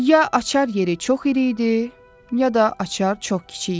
Ya açar yeri çox iri idi, ya da açar çox kiçik idi.